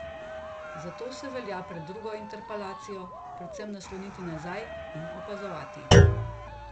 Zato se velja pred drugo interpelacijo predvsem nasloniti nazaj in opazovati.